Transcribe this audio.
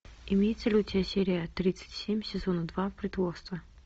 имеется ли у тебя серия тридцать семь сезона два притворство